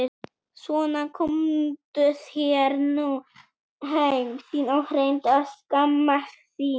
Svona komdu þér nú heim þín og reyndu að skammast þín!